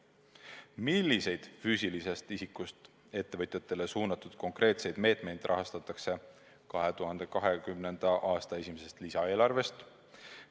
Milliseid füüsilisest isikust ettevõtjatele suunatud konkreetseid meetmeid rahastatakse 2020. aasta esimesest lisaeelarvest?